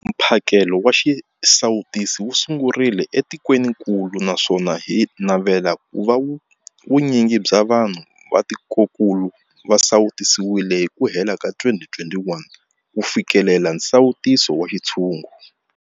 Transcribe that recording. Mphakelo wa xisawutisi wu sungurile etikwenikulu naswona hi navela ku va vu nyingi bya vanhu va tikokulu va sawutisiwile hi ku hela ka 2021 ku fikelela nsawuto wa xintshungu.